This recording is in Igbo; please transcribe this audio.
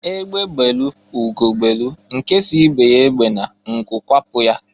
Egbe belu ugo belu nke si ibe ya ebena nku kwapụ ya.